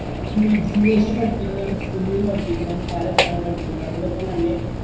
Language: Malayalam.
gymnasium പഠിപ്പിക്കുന്ന skill ഉം പഠിപ്പിക്കുന്ന ഇണ്ട് പല സാധനവും പഠിപ്പിക്കുന്നുണ്ട് അതിന്റെപ്പോ തന്നെ